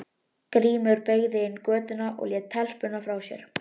Vann hún kross úr bronsi yfir altarið.